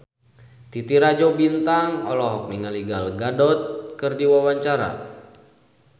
Titi Rajo Bintang olohok ningali Gal Gadot keur diwawancara